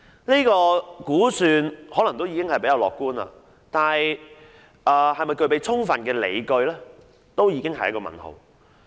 這項估算可能已相對樂觀，但其是否具備充分理據，本身已是一個問號。